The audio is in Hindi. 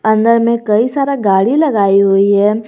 अंदर में कई सारा गाड़ी लगाई हुई है।